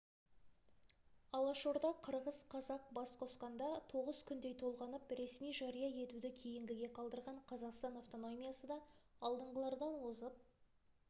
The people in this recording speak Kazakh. алаш орда қырғыз-қазақ бас қосқанда тоғыз күндей толғанып ресми жария етуді кейінгіге қалдырған қазақстан автономиясы да алдыңғылардан озып